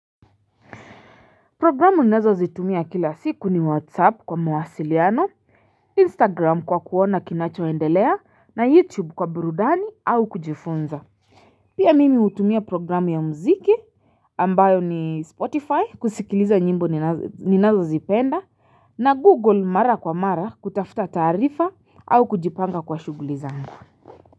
Programu ninazo zitumia kila siku ni whatsapp kwa mawasiliano, instagram kwa kuona kinacho endelea na youtube kwa burudani au kujifunza. Pia mimi hutumia programu ya muziki ambayo ni spotify kusikiliza nyimbo ninazo zipenda na google mara kwa mara kutafuta taarifa au kujipanga kwa shughuli zangu.